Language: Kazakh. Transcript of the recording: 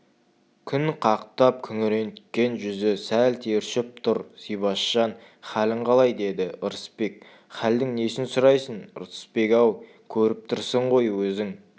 күн қақтап күреңіткен жүзі сәл тершіп тұр зибашжан халің қалай деді ырысбек хәлдің несін сұрайсың ырысбек-ау көріп тұрсың ғой өзің